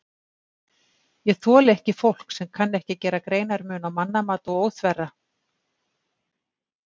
Ég þoli ekki fólk sem kann ekki að gera greinarmun á mannamat og óþverra.